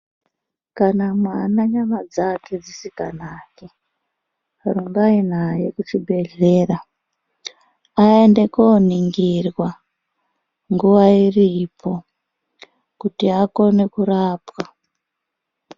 Kana mwana nyama dzake dzisikanaki rumbai naye kuchibhehleya aende koningirwa nguwa iripo kuti akone kurapwa.